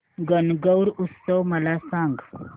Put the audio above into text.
गणगौर उत्सव मला सांग